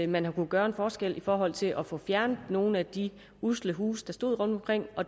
man har kunnet gøre en forskel i forhold til at få fjernet nogle af de usle huse der stod rundtomkring